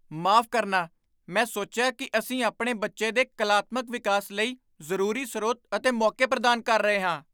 ਮਾਫ਼ ਕਰਨਾ? ਮੈਂ ਸੋਚਿਆ ਕਿ ਅਸੀਂ ਆਪਣੇ ਬੱਚੇ ਦੇ ਕਲਾਤਮਕ ਵਿਕਾਸ ਲਈ ਜ਼ਰੂਰੀ ਸਰੋਤ ਅਤੇ ਮੌਕੇ ਪ੍ਰਦਾਨ ਕਰ ਰਹੇ ਹਾਂ।